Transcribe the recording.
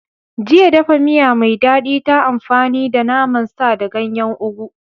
Jiya, dafa miya mai daɗi ta amfani da naman sa da ganyen ugu